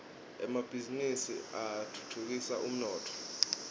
emabhisinisi atfutfukisa umnotfo